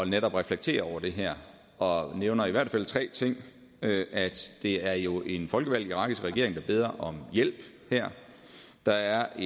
netop at reflektere over det her og nævner i hvert fald tre ting det er jo en folkevalgt irakisk regering der beder om hjælp her der er